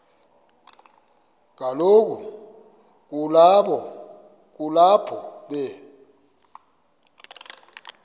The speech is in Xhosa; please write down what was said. kaloku kulapho be